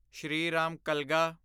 Shriram ਕਲਗਾ